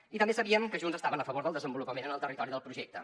i també sabíem que junts estaven a favor del desenvolupament en el territori del projecte